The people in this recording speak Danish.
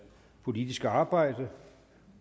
politiske arbejde